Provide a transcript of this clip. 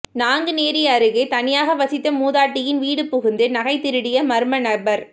நாங்குநேரி அருகே தனியாக வசித்த மூதாட்டியின் வீடு புகுந்து நகை திருடிய மர்மநபர்